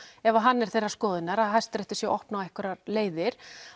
ef hann er þeirrar skoðunnar að Hæstiréttur sé að opna á einhverjar leiðir